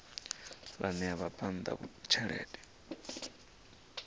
ya ṋea vhabvann ḓa thendelo